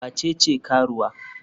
Wa ce ce karuwa?